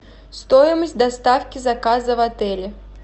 стоимость доставки заказа в отеле